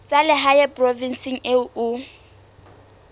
tsa lehae provinseng eo o